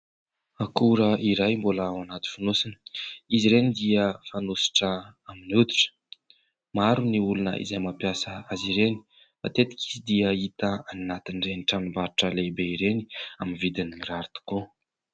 Akora iray mbola ao anaty fonosana, izy ireny dia fanosotra amin'ny hoditra. Maro ny olona izay mampiasa azy ireny. Matetika izy dia hita any anatin'ireny tranombarotra lehibe ireny, amin'ny vidiny mirary tokoa.